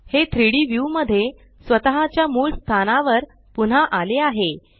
हे 3डी व्यू मध्ये स्वतः च्या मूळ स्थानावर पुन्हा आले आहे